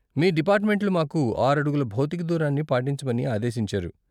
మీ డిపార్ట్మెంట్లు మాకు ఆరు అడుగుల భౌతిక దూరాన్ని పాటించమని ఆదేశించారు.